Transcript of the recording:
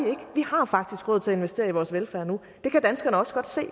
har faktisk råd til at investere i vores velfærd nu det kan danskerne også godt se